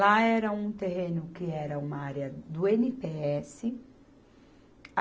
Lá era um terreno que era uma área do i ene pê esse.